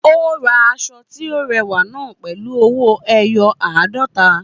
Ó ra aṣọ tí ó rẹwà náà pẹ̀lú ọwọ́ ẹyọ àádọ́ta